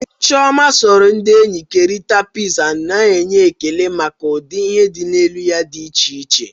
Chioma soro ndị enyi kerịta pitiza, na-enwe ekele maka ụdị ihe di na elu ya dị iche iche.